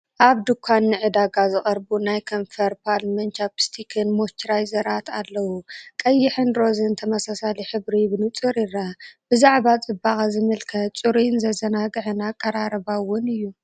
ኣብ ድኳን ንዕዳጋ ዝቐርቡ ናይ ከንፈር ባልምን ቻፒስትክን ሞይስቸራይዘራት ኣለዉ። ቀይሕን ሮዛን ተመሳሳሊ ሕብሪን ብንጹር ይርአ። ብዛዕባ ጽባቐ ዝምልከት ጽሩይን ዘዘናግዕን ኣቀራርባ ውን እዩ።